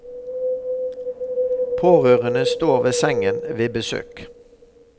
Pårørende står ved sengen ved besøk.